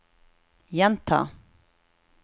gjenta